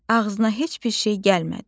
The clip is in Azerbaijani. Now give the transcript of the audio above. Ağzına heç bir şey gəlmədi.